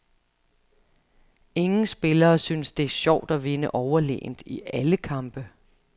Ingen spillere synes, det er sjovt at vinde overlegent i alle kampe.